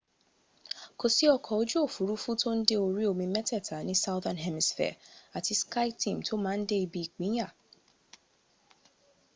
kò sí ọkọ̀ ojú òfúrufú tó ń de orí omi mẹ́tẹ̀ẹ̀ta ní southern hemisphere àti skyteam tó má ń dé ibi ìpinyà